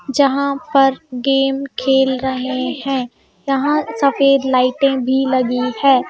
जहाँ पर गेम खेल रहे हैं यहाँ सफेद लाइटें भी लगी है.